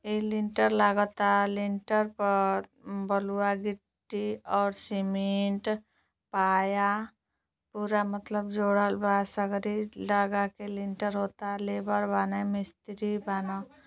ए lintel लागता lintel पर बलुआ गिट्टी और सीमेंट पाया पूरा मतलब जोड़लबा सगरे लगाके लिनटर होता लेबर बाना मिस्त्री बाना।